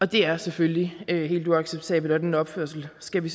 det er selvfølgelig helt uacceptabelt og den opførsel skal vi